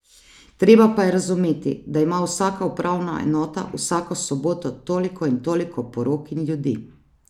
Treba pa je razumeti, da ima vsaka upravna enota vsako soboto toliko in toliko porok in ljudi.